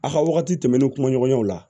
A ka wagati tɛmɛnen kumaɲɔgɔnyaw la